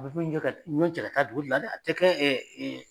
A bɛ ko in kɛ ka ɲɔn cɛ ka taa dugu de la dɛ a tɛ kɛ